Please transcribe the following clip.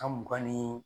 Ka mugan ni